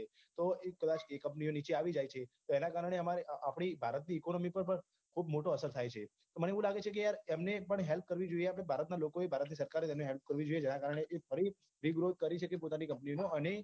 તો એક રાષ્ટ્રીય company ઓ નીચે આવી જાયે છે તો એના કારણે અમારે આપની ભારતની economy પર ખુબ મોટો અસર થાય છે મને એવું લાગે છે કે યાર તેમને પણ help કરવી જોઈએ ભારતના લોકોએ ભારતની સરકાર એ તેમની help કરવી જોઈએ જેના કારણે તે ફરી regrowth કરી શકે પોતાની company નો અને